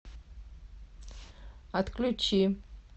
отключи